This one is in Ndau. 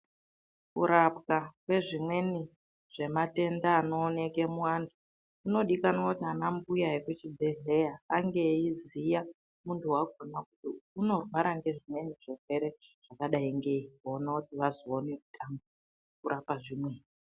Kurapwa kwezvimweni zvematenda anooneke muantu kunodikanwa ndiana mbuya vemuchibhedhlera ange eiziya muntu wakhona kuti unorwara ngezvimweni zvirwere zvakadayi ngeyi kuona kuti vazoona kutanga kurapa zvimwe.